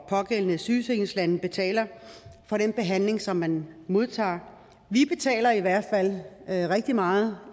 pågældende sygesikringslande betaler for den behandling som man modtager vi betaler i hvert fald rigtig meget